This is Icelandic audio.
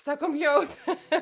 það kom hljóð